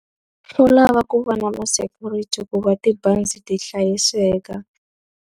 Swo lava ku va na ma-security ku va tibazi ti hlayiseka.